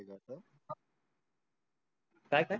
काय काय?